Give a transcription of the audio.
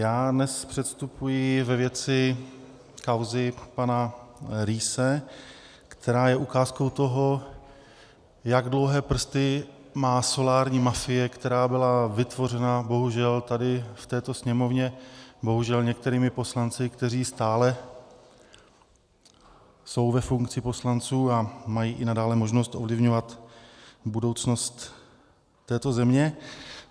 Já dnes předstupuji ve věci kauzy pana Riesse, která je ukázkou toho, jak dlouhé prsty má solární mafie, která byla vytvořena bohužel tady v této Sněmovně, bohužel některými poslanci, kteří stále jsou ve funkci poslanců a mají i nadále možnost ovlivňovat budoucnost této země.